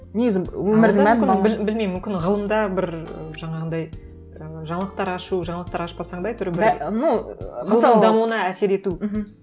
негізі білмеймін мүмкін ғылымда бір жаңағындай і жаңалықтар ашу жаңалықтар ашпасаң да әйтеуір біреудің дамуына әсер ету мхм